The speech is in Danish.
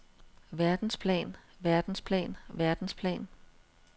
verdensplan verdensplan verdensplan